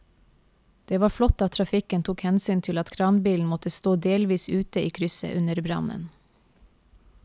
Det var flott at trafikken tok hensyn til at kranbilen måtte stå delvis ute i krysset under brannen.